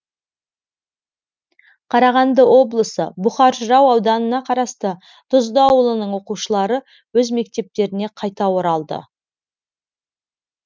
қарағанды облысы бұқар жырау ауданына қарасты тұзды ауылының оқушылары өз мектептеріне қайта оралды